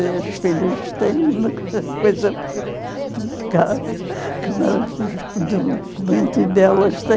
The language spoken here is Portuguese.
As filhas têm uma coisa que nos documentos delas têm